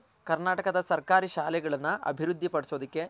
ಕರ್ನಾಟಕದ ಸರ್ಕಾರಿ ಶಾಲೆಗಳನ ಅಭಿವೃದ್ದಿ ಪಡಿಸೋದಕ್ಕೆ